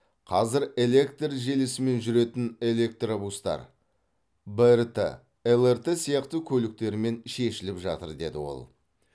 қазір электр желісімен жүретін электробустар брт лрт сияқты көліктермен шешіліп жатыр деді ол